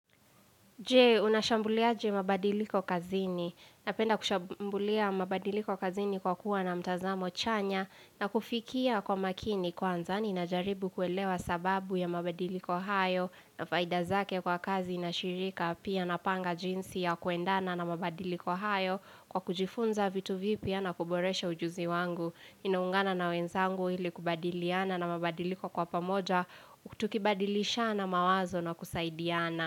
Je, unashambuliaje mabadiliko kazini? Napenda kushambulia mabadiliko kazini kwa kuwa na mtazamo chanya na kufikia kwa makini kwanza. Ni inajaribu kuelewa sababu ya mabadiliko hayo na faidazake kwa kazi na shirika. Pia napanga jinsi ya kuendana na mabadiliko hayo kwa kujifunza vitu vipi ya na kuboresha ujuzi wangu. Ninaungana na wenzangu ili kubadiliana na mabadiliko kwa pamoja kutukibadilishana mawazo na kusaidiana.